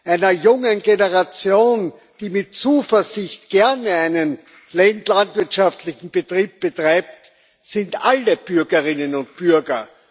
einer jungen Generation, die mit Zuversicht gerne einen landwirtschaftlichen Betrieb betreibt, sind alle Bürgerinnen und Bürger.